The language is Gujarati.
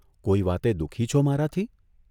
કોઇ વાતે દુઃખી છો મારાથી?